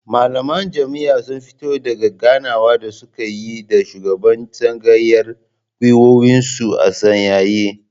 Malaman jami'an sun fito daka ganawar da suka yi da shugaban tsangayar gwiwoyinsu a sanyaye